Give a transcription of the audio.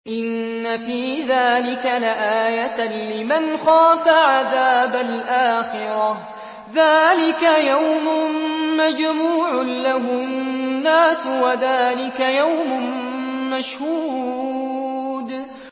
إِنَّ فِي ذَٰلِكَ لَآيَةً لِّمَنْ خَافَ عَذَابَ الْآخِرَةِ ۚ ذَٰلِكَ يَوْمٌ مَّجْمُوعٌ لَّهُ النَّاسُ وَذَٰلِكَ يَوْمٌ مَّشْهُودٌ